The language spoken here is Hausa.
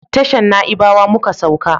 Tashan naibawa muka sauka